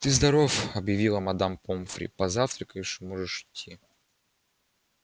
ты здоров объявила мадам помфри позавтракаешь и можешь идти